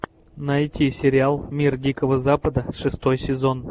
найти сериал мир дикого запада шестой сезон